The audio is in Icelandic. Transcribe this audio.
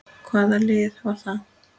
Hvaða lið var það?